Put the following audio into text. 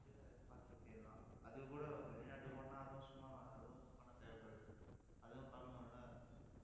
வந்து பார்த்துட்டு போயிடலாம். அதுக்கு கூட வெளிநாட்டுக்கு போனா, அதுவும் சும்மாவா அதுவும் பணம் தேவைப்படுது. அதுவும் பார்க்கணும் இல்ல